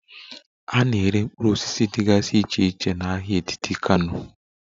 A na-ere mkpụrụ osisi dịgasị iche iche na ahịa etiti Kano